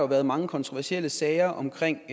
været mange kontroversielle sager omkring